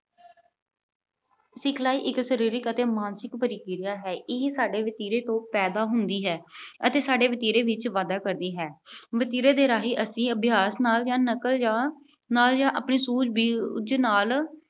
ਸਿਖਲਾਈ ਇੱਕ ਸਰੀਰਕ ਅਤੇ ਮਾਨਸਿਕ ਪ੍ਰਕਿਰਿਆ ਹੈ। ਇਹ ਸਾਡੇ ਵਤੀਰੇ ਤੋਂ ਪੈਦਾ ਹੁੰਦੀ ਹੈ ਅਤੇ ਸਾਡੇ ਵਤੀਰੇ ਵਿੱਚ ਵਾਧਾ ਕਰਦੀ ਹੈ। ਵਤੀਰੇ ਦੇ ਰਾਹੀਂ ਅਸੀਂ ਅਭਿਆਸ ਨਾਲ ਜਾਂ ਨਕਲ ਜਾਂ ਨਾਲ ਜਾਂ ਆਪਣੀ ਸੂਝਬੂਝ ਨਾਲ